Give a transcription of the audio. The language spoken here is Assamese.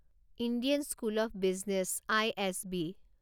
Indian school of business I S B